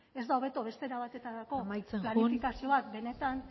ez da hobeto beste era batetarako planifikazioak benetan